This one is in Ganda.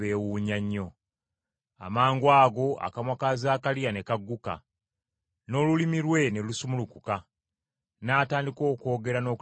Amangwago akamwa ka Zaakaliya ne kagguka, n’olulimi lwe ne lusumulukuka, n’atandika okwogera n’okutendereza Katonda.